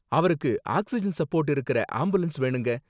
அவருக்கு oxygen support இருக்குற ambulance வேணுங்க.